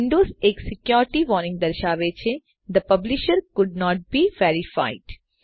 Windows એક security warning દર્શાવે છે the publisher could not be verified